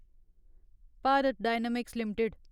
Bharat dynamics limited